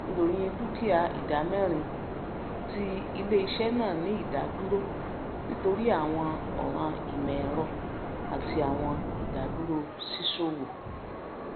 ìròyìn dukia ìdámẹrin ti iléiṣẹ náà ní ìdádúró nítorí àwọn ọràn ìmọẹrọ àti àwọn ìdádúró ṣíṣòwò